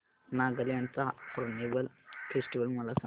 नागालँड चा Hornbill Festival मला सांग